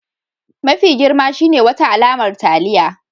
Mafi girma shine wata alamar taliya